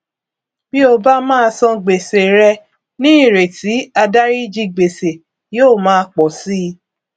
bí o bá má san gbèsè rẹ ní ìrètí àdáríjì gbèsè yóò máa pọ si